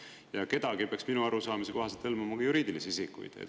Ja "kedagi" peaks minu arusaamise kohaselt hõlmama ka juriidilisi isikuid.